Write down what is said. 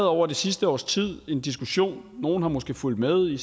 over det sidste års tid en diskussion nogle har måske fulgt med i